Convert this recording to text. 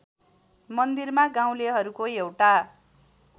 मन्दिरमा गाउँलेहरूको एउटा